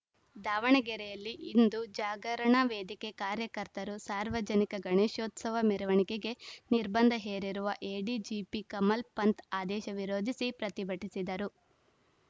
ದಾವಣಗೆರೆಯಲ್ಲಿ ಹಿಂದು ಜಾಗರಣ ವೇದಿಕೆ ಕಾರ್ಯಕರ್ತರು ಸಾರ್ವಜನಿಕ ಗಣೇಶೋತ್ಸವ ಮೆರವಣಿಗೆಗೆ ನಿರ್ಬಂಧ ಹೇರಿರುವ ಎಡಿಜಿಪಿ ಕಮಲ್‌ ಪಂಥ್‌ ಆದೇಶ ವಿರೋಧಿಸಿ ಪ್ರತಿಭಟಿಸಿದರು